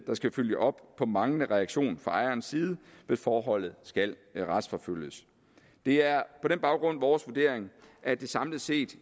der skal følge op på manglende reaktion fra ejerens side hvis forholdet skal retsforfølges det er på den baggrund vores vurdering at det samlet set